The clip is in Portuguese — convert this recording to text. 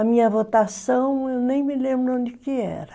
A minha votação, eu nem me lembro onde que era.